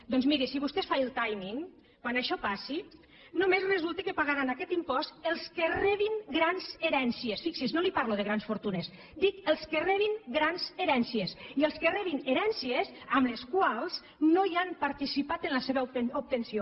doncs miri si vostè fa el timing quan això passi només resulta que pagaran aquest impost els que rebin grans herències fixi’s no li parlo de grans fortunes dic els que rebin grans herències i els que rebin herències en les quals no han participat en la seva obtenció